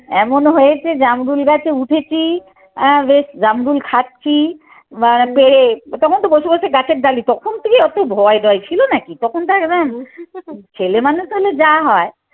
এমন হয়েছে জামরুল গাছে উঠেছি বেশ জাম্বুল খাচ্ছি পেরেক তখন তো বসে বসে গাছের ডালি। তখন কি অতো ভয় ডয় ছিল নাকি তখন তো একদম ছেলেমানুষ হলে যা হয়।